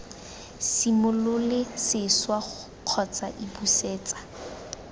simolole sešwa kgotsa iii busetsa